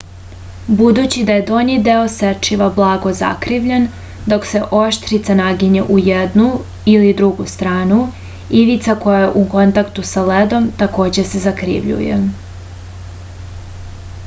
budući da je donji deo sečiva blago zakrivljen dok se oštrica naginje u jednu ili drugu stranu ivica koja je u kontaktu sa ledom takođe se zakrivljuje